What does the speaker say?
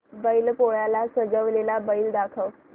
बैल पोळ्याला सजवलेला बैल दाखव